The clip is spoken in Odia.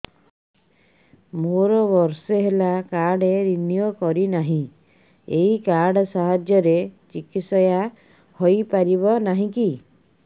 ମୋର ବର୍ଷେ ହେଲା କାର୍ଡ ରିନିଓ କରିନାହିଁ ଏହି କାର୍ଡ ସାହାଯ୍ୟରେ ଚିକିସୟା ହୈ ପାରିବନାହିଁ କି